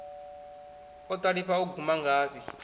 o ṱalifha u guma ngafhi